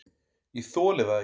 """Ég þoli það ekki,"""